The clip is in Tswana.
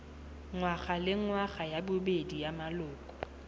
ngwagalengwaga ya bobedi ya maloko